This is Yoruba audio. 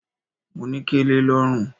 Mo ní kẹlẹ lọ́rùn.